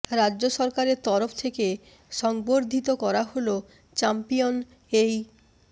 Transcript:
রাজ্য সরকারের তরফ থেকে সংবর্ধিত করা হল চ্যাম্পিয়ন এই